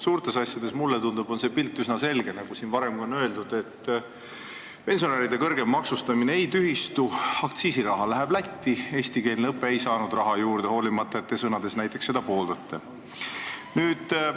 Mulle tundub, et suurtes asjades on pilt üsna selge, nagu siin on ka varem öeldud: pensionäride kõrgem maksustamine ei tühistu, aktsiisiraha läheb Lätti, eestikeelne õpe ei saa raha juurde, hoolimata sellest, et te seda sõnades pooldate.